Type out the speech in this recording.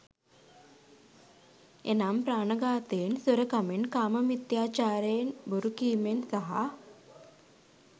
එනම්, ප්‍රාණඝාතයෙන්, සොරකමෙන්, කාමමිථ්‍යාචාරයෙන්, බොරුකීමෙන් සහ